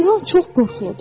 İlan çox qorxuludur.